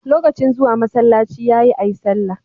Lokacin zuwa masalaci yayi ayi sallah